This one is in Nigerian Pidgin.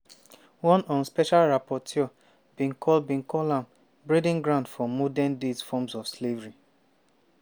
one un special rapporteur bin call bin call am "breeding ground for modern day forms of slavery."